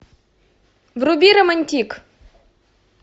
вруби романтик